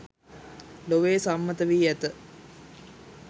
ලොවේ සම්මත වී ඇත